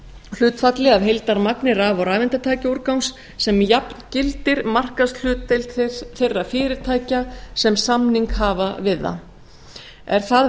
hlutfalli af heildarmagni raf og rafeindatækjaúrgangs sem jafngildir markaðshlutdeild þeirra fyrirtækja sem samning hafa við það er það